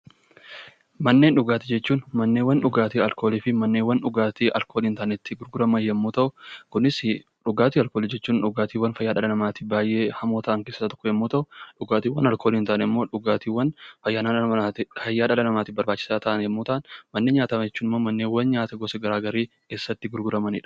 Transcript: Manneen dhugaatii jechuun manneewwan dhugaatii alkoolii fi manneewwan dhugaatii alkoolii hin taane itti gurguraman yommuu ta'u, kunisi dhugaatii alkoolii jechuun dhugaatiiwwan fayyaa dhala namaatiif baay'ee hamoo ta'an yommuu ta'u, dhugaatiiwwan alkoolii hin taane immoo fayyaa dhala namaatiif barbaachisaa ta'an yommuu ta'an; Manneen nyaataa jechuun manneewwan nyaata gara garii keessatti gurguramani dha.